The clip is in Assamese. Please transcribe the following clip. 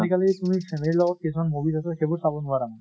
আজি কালি তুমি family ৰ লগত কিছুমান movies আছে, সেইবোৰ চাব নোৱাৰা মানে।